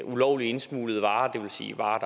ulovligt indsmuglede varer det vil sige varer